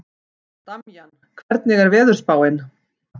Damjan, hvernig er veðurspáin?